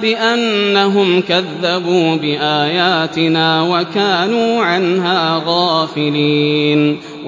بِأَنَّهُمْ كَذَّبُوا بِآيَاتِنَا وَكَانُوا عَنْهَا غَافِلِينَ